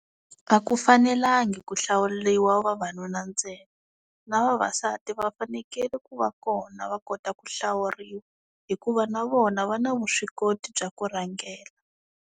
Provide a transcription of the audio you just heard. A ku fanelangi ku hlawuliwa vavanuna ntsena na vavasati va fanekele ku va kona va kota ku hlawuriwa hikuva na vona va na vuswikoti bya ku rhangela.